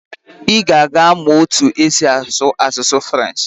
I ga-aga mụọ otu esi asụ asụsụ French.